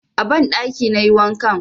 A banɗakin na yi wankan.